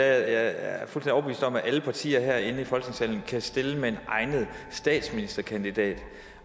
at alle partier herinde i folketingssalen kan stille med en egnet statsministerkandidat